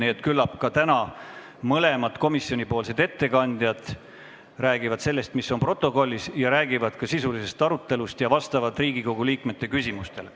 Nii et küllap räägivad ka täna mõlemad komisjoni ettekandjad sellest, mis on kirjas protokollis, ja sisulisest arutelust ning vastavad Riigikogu liikmete küsimustele.